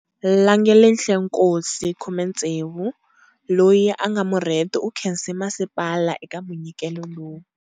Langelihle Nkosi, 16, loyi a nga murheti u khense masipala eka munyikelo lowu.